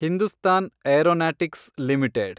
Hindustan Aeronautics limited